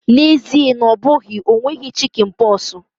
N'ezie na ọ bụghị, o nweghị chikinpoksi.